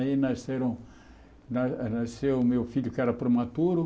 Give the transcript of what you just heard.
Aí nasceram na nasceu o meu filho, que era prematuro.